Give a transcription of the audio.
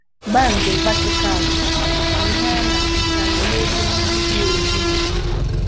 Bándị̀ vátịkàlụ̀ bụ̀ ïhé á nà-àhụ́kárị́ n'ébé ndị́ dị òjí nọ̀